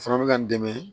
Fana bɛ ka n dɛmɛ